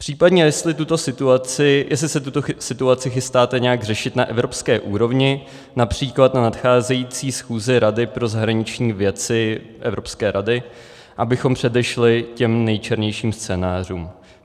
Případně, jestli se tuto situaci chystáte nějak řešit na evropské úrovni, například na nadcházející schůzi Rady pro zahraniční věci, Evropské rady, abychom předešli těm nejčernějším scénářům.